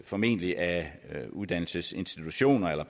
formentlig af uddannelsesinstitutioner eller